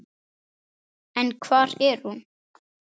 En hvar er hún?